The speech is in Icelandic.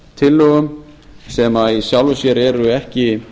breytingartillögum sem í sjálfu sér eru ekki